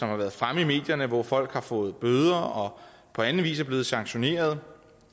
har været fremme i medierne hvor folk har fået bøder og på anden vis er blevet sanktioneret